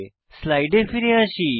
স্লাইডে ফিরে আসি